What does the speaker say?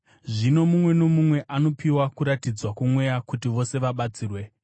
Zvino mumwe nomumwe anopiwa kuratidzwa kwoMweya kuti vose vabatsirwe.